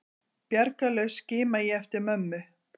Bjargarlaus skima ég eftir mömmu.